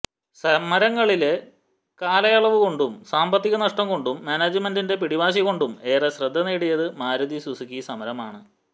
സമരങ്ങളില് കാലയളവുകൊണ്ടും സാമ്പത്തിക നഷ്ടം കൊണ്ടും മാനേജ്മെന്റിന്റെ പിടിവാശി കൊണ്ടും ഏറെ ശ്രദ്ധ നേടിയത് മാരുതി സുസുക്കി സമരമാണ്